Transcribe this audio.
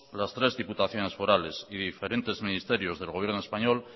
las tres diputaciones forales y diferente ministerios del gobierno español